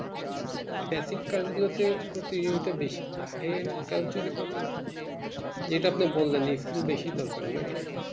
traffic gun গুলোতে প্রতিযোগিতা বেশি high rank কাজ যদি করো যেটা আপনি বলেন experience বেশি দরকার নাকি